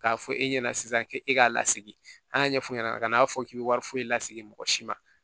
K'a fɔ e ɲɛna sisan ke e k'a lasegin an y'a ɲɛf'u ɲɛna a ka n'a fɔ k'i be wari foyi laseg'i si ma